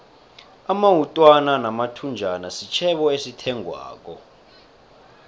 amawutwana namathunjana sitjhebo esithengwako